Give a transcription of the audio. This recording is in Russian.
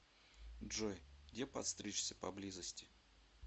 джой где подстричься поблизости